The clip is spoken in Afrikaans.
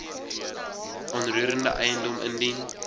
onroerende eiendom indien